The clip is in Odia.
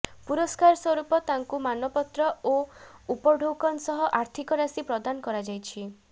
ପୁରସ୍କାର ସ୍ୱରୂପ ତାଙ୍କୁ ମାନପତ୍ର ଓ ଉପଢ଼ୌକନ ସହ ଆର୍ଥିକ ରାଶି ପ୍ରଦାନ କରାଯାଇଛି